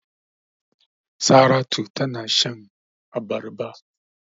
Saratu tana shan abarba.